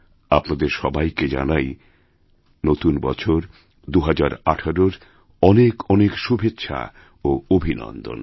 আপনাদেরসবাইকে জানাই নতুন বছর ২০১৮র অনেক অনেক শুভেচ্ছা ও অভিনন্দন